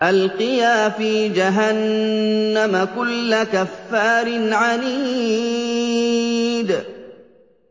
أَلْقِيَا فِي جَهَنَّمَ كُلَّ كَفَّارٍ عَنِيدٍ